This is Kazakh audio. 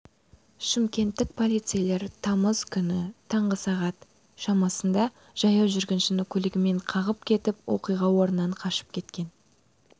шымкенттік полицейлер тамыз күні таңғы сағат шамасында жаяу жүргіншіні көлігімен қағып кетіп оқиға орнынан қашып кеткен